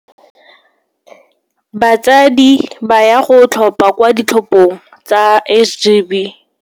Batsadi ba ya go tlhopha kwa ditlhophong tsa SGB.